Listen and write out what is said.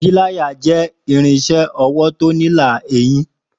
Pílàyá jẹ ìrínsẹ ọwọ tọ nílà eyín